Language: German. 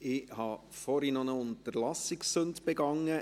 Ich habe vorhin eine Unterlassungssünde begangen.